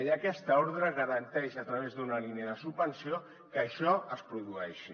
i aquesta ordre garanteix a través d’una línia de subvenció que això es produeixi